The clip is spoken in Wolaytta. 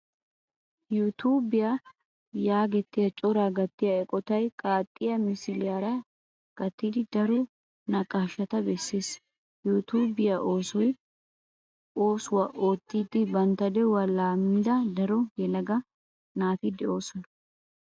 "Yuutubiyaa" geetettiya cora gattiya eqqotay qaaxxiya misiliyaara gattidi daro naqaashata bessees. "Yuutubiyaa" oosuwaa oottidi bantta de'uwaa laammida daro yelaga naati de'oosona.